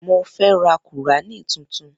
Mo fẹ́ ra kùránì tuntun.